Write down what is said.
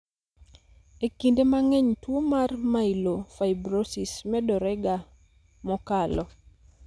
e kinde mang'eny tuo mar Myelofibrosis medore ga mokalo